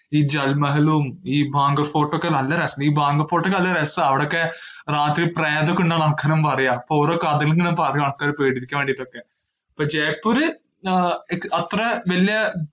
ഈ ജൽമഹലും ഈ ഭാംഗർഹ് ഫോർട്ടൊക്കെ നല്ല രസൊ~ ഈ ഭാംഗർഹ് ഫോർട്ടൊക്കെ നല്ല രസാ, അവിടൊക്കെ രാത്രി പ്രേതൊക്കെയിണ്ടെന്ന് ആൾക്കാര് പറയ്യാ, അപ്പൊ ഒരു കഥയിങ്ങനെ പറയും ആൾക്കാരെ പേടിപ്പിക്കാൻ വേണ്ടീട്ടൊക്കെ. അപ്പൊ ജയ്പ്പൂര് ആഹ് എക്ക്~ അത്ര വലിയ